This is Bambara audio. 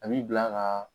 A b'i bila ka